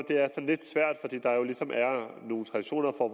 det er lidt svært fordi der ligesom er nogle traditioner for